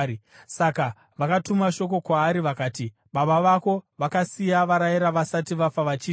Saka vakatuma shoko kwaari vakati, “Baba vako vakasiya varayira vasati vafa vachiti: